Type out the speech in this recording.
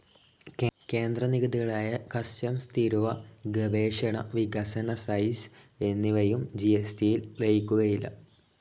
കേന്ദ്ര നികുതികളായ കസ്റ്റംസ്‌ തീരുവ, ഗവേഷണ, വികസന സൈസ്‌ എന്നിവയും ജി.എസ്.ടിയിൽ ലയിക്കുകയില്ല.